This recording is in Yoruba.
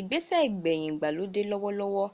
ìgbẹ́sẹ̀ igbeyin ìgbàlódẹ́ lọ́wọ́lọ́wọ́